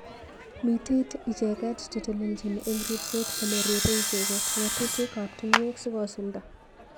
mitei icheket cheteleljin eng ribset kole ribei icheket ngatutik ab tungwek sikosulda.